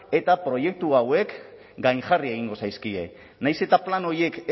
eta proiektu hauek gainjarri egingo zaizkie nahiz eta plan horiek